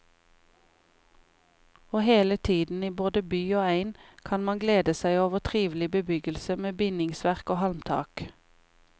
Og hele tiden, i både by og egn, kan man glede seg over trivelig bebyggelse med bindingsverk og halmtak.